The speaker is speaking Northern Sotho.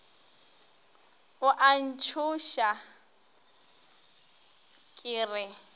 o a ntšhoša ke re